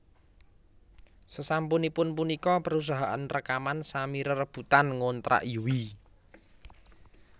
Sesampunipun punika perusahaan rekaman sami rerebutan ngontrak Yui